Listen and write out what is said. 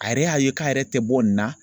A yɛrɛ y'a ye k'a yɛrɛ tɛ bɔ nin na